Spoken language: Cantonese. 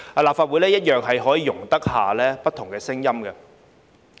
立法會一樣容得下不同聲音。